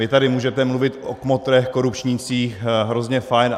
Vy tady můžete mluvit o kmotrech korupčnících, hrozně fajn.